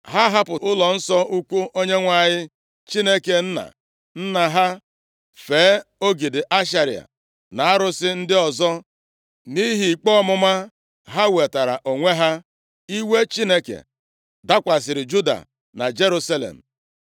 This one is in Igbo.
Ha hapụrụ ụlọnsọ ukwu Onyenwe anyị Chineke nna nna ha, fee ogidi Ashera na arụsị ndị ọzọ. Nʼihi ikpe ọmụma ha wetaara onwe ha, iwe Chineke dakwasịrị Juda na Jerusalem.